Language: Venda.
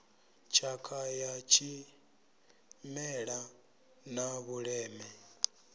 tshakha ya tshimela na vhuleme